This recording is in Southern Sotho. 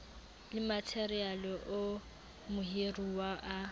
le matheriale oo mohiruwa a